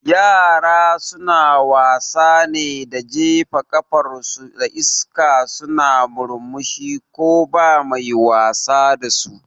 Yara suna wasa ne da jefa kafar su a iska suna murmushi ko ba mai wasa dasu